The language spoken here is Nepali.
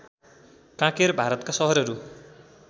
कांकेर भारतका सहरहरू